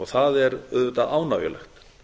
það er auðvitað ánægjulegt